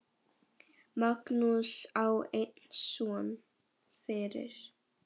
Magnús á einn son fyrir.